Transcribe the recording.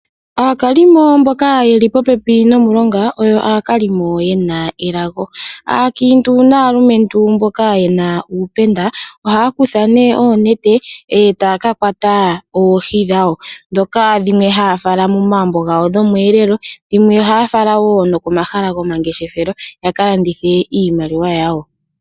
Aakalimo mboka yeli po pepi nomulonga, oyo aakalimo yena elago. Aakiintu naalumentu mboka yena uupenda, ohaya kutha ne oonete, etaya ka kwata oohi dhawo, dhoka dhimwe ha ya fala momagumbo gawo dhomweelelo, dhimwe ohaya fala wo komahala gomangeshefelo, yaka landithe iimaliwa yawo.